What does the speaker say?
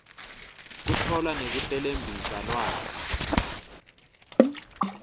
kutfola nekuhlelembisa lwati